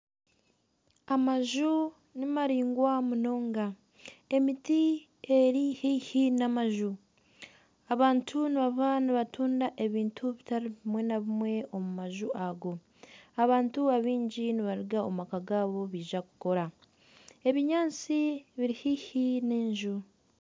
Amaju nimaraingwa munonga, emiti eri haihi na amaju. Abantu nibaba nibatunda ebintu bitari bimwe na bimwe omu maju ago. Abantu abaingi nibaruga omu maka gaabo baija kukora. Ebinyaatsi biri haihi n'enju.